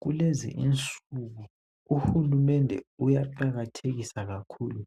Kulezinsuku uhulumende uyaqakathekisa kakhulu